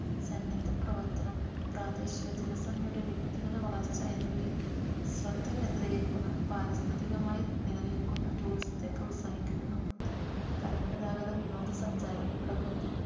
സന്നദ്ധ പ്രവർത്തനം പ്രാദേശിക ജനസംഖ്യയുടെ വ്യക്തിഗത വളർച്ച എന്നിവയിൽ ശ്രദ്ധ കേന്ദ്രീകരിക്കുന്ന പാരിസ്ഥിതികമായി നിലനിൽക്കുന്ന tourism ത്തെ പ്രോത്സാഹിപ്പിക്കുന്നു പരമ്പരാഗത വിനോദസഞ്ചാരം പ്രകൃതി